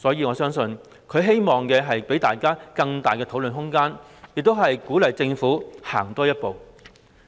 我相信他也希望給予大家更大討論空間，並鼓勵政府多走一步。